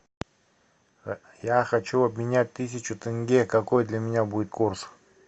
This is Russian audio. я хочу обменять тысячу тенге какой для меня будет курс